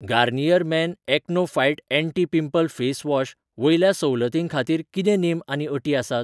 Garnier men acno fight anti pimple face wash वयल्या सवलतीं खातीर कितें नेम आनी अटी आसात ?